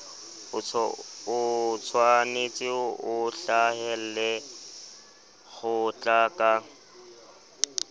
otshwanetse o hlahelle kgotla ka